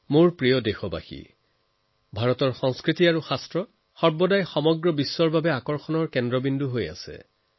মোৰ প্ৰিয় দেশবাসী ভাৰতৰ সংস্কৃতি আৰু শাস্ত্ৰত সকলো সময়তে সমগ্ৰ বিশ্বৰ বাবে আকৰ্ষণৰ কেন্দ্ৰবিন্দু হৈ আহিছে